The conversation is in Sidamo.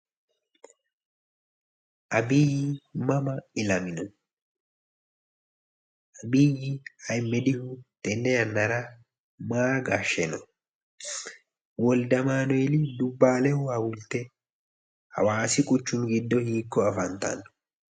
Abiy mama illamino abiy ahimedihu tenne yannara maa gashsheno wolde amaanueli dubbaalehu hawulte hawaasi quchumi giddo hiikko afantanno